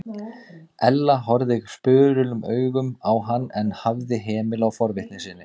Ella horfði spurulum augum á hann en hafði hemil á forvitni sinni.